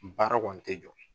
Baara kɔni tɛ jɔ.